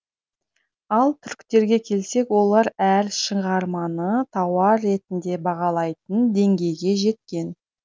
ал түріктерге келсек олар әр шығарманы тауар ретінде бағалайтын деңгейге жеткен